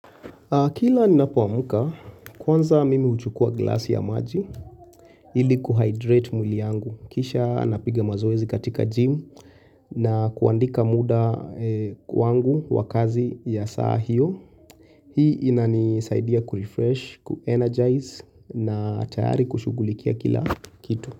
Kila ni napoamuka kwanza mimi uchukua glasi ya maji ili kuhydrate mwili yangu. Kisha napiga mazoezi katika gym na kuandika muda kwangu wakazi ya saa hiyo. Hii ina nisaidia kurefresh, kuenergize na tayari kushugulikia kila kitu.